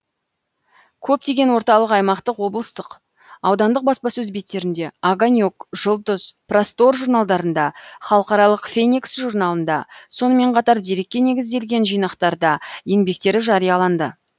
көптеген орталық аймақтық облыстық аудандық баспасөз беттерінде огонек жұлдыз простор журналдарында халықаралық феникс журналында сонымен қатар дерекке негізделген жинақтарда еңбектері жарияланды